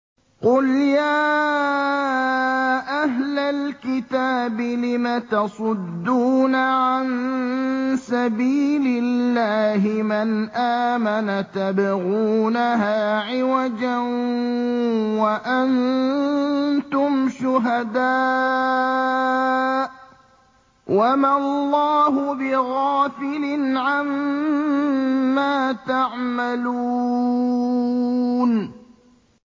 قُلْ يَا أَهْلَ الْكِتَابِ لِمَ تَصُدُّونَ عَن سَبِيلِ اللَّهِ مَنْ آمَنَ تَبْغُونَهَا عِوَجًا وَأَنتُمْ شُهَدَاءُ ۗ وَمَا اللَّهُ بِغَافِلٍ عَمَّا تَعْمَلُونَ